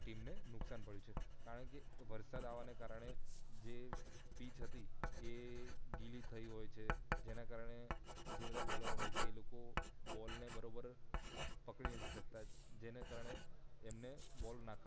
team ને નુકસાન પડિયું છે કારણકે વરસાદ આવાને કારણે જે પીચ હતી એ ગિલી થઈ હોય છે જેના કારણે જે બધા બોલરો હોય છે તે બોલ ને બરોબર પકડી નથી શકતા જેને કારણે એમને બોલ નાખવા